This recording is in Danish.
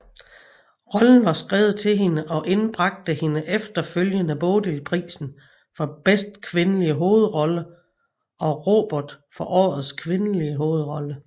Rollen var skrevet til hende og indbragte hende efterfølgende Bodilprisen for bedste kvindelige hovedrolle og Robert for årets kvindelige hovedrolle